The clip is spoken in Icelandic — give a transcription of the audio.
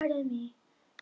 En ekkert alvarlegt þó?